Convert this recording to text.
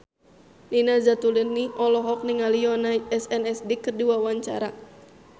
Nina Zatulini olohok ningali Yoona SNSD keur diwawancara